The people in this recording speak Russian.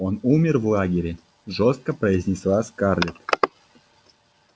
он умер в лагере жёстко произнесла скарлетт